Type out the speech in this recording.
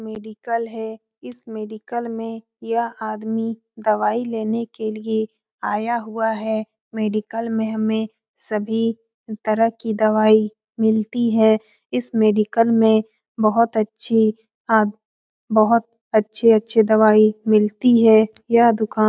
Medical है। इस medical में यह आदमी दवाई लेने के लिए आया हुआ है। मेडिकल में हमें सभी तरह कि दवाई मिलती है। इस मेडिकल में बहुत अच्छी आद बहुत अच्छी-अच्छी दवाई मिलती है। यह दुकान --